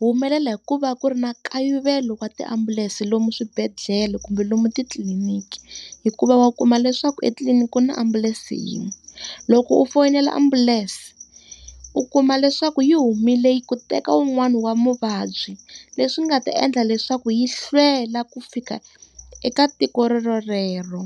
humelela hi ku va ku ri na nkayivelo wa tiambulense lomu swibedhlele kumbe lomu titliliniki. Hikuva wa kuma leswaku etliliniki ku na ambulense yin'we. Loko u foyinela ambulance, u kuma leswaku yi humile ku ya teka wun'wani wa muvabyi leswi nga ta endla leswaku yi hlwela ku fika eka tiko rero.